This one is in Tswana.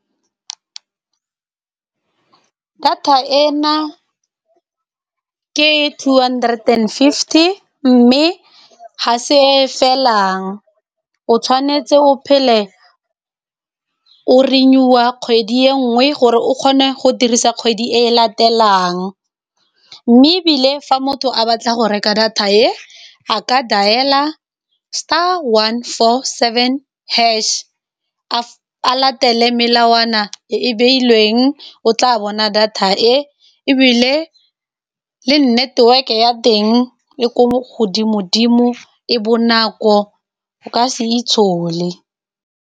Data e na ke two hundred and fifty, mme ga se e felang, o tshwanetse o phele o renew-a kgwedi e nngwe gore o kgone go dirisa kgwedi e latelang. Mme ebile fa motho a batla go reka data e, a ka dial-a star one four seven hash, a latela melawana e e beilweng o tla bona data e ebile, le network ya teng le ko godimo-dimo, e bonako o ka se itshole.